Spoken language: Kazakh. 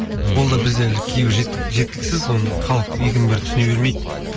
ол да бізде әлі кейбір жеткіліксіз оны халық екінің бірі түсіне бермейді